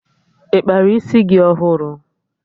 Ị kpara isi gị ọhụrụ?